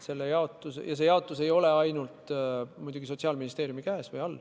Kogu raha ei lähe muidugi ainult Sotsiaalministeeriumi kätte.